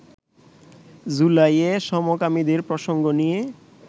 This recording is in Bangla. জুলাইয়ে সমকামীদের প্রসঙ্গ নিয়ে